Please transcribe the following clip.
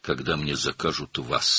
Mənə sizi sifariş edəndə,